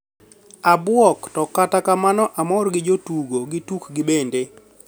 "Abuok to kata kamano amor gi jotugo gi tukgi bende.